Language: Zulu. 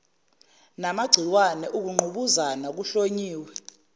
ngamagciwane ukungqubuzana kuhlonyiwe